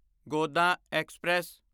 Godan express